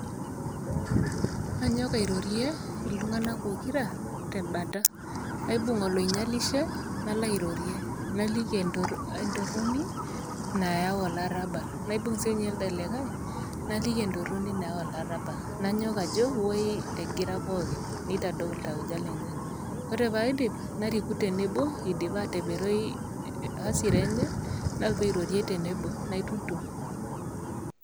Anyok airorie iltung'ana pokira tebata, aibung' oloinyalishe nalo airorie, naliki entoroni nayau olarabal. Naibung' sininye elde likai, naliki entoroni nayau olarabal. Nanyok ajo woi egira pookin, neitadou iltauja lenye, ore pee aidip nariku tenebo eidipa ataperoi [hasira] enye nalotu airorie tenebo ,naitutum.